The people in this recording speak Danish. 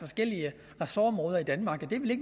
forskellige ressortområder i danmark og det